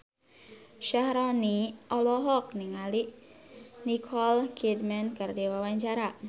Syaharani olohok ningali Nicole Kidman keur diwawancara